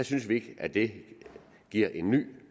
synes vi ikke at det giver en ny